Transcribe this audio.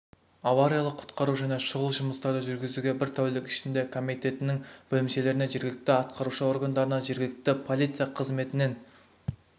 авариялық-құтқару және шұғыл жұмыстарды жүргізуге бір тәулік ішінде комитетінің бөлімшелерінен жергілікті атқарушы органдарынан жергілікті полиция қызметінен